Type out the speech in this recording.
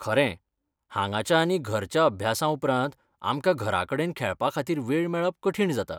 खरें, हांगाच्या आनी घरच्या अभ्यासाउपरांत, आमकां घराकडेन खेळपाखातीर वेळ मेळप कठीण जाता.